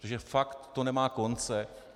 Protože fakt to nemá konce.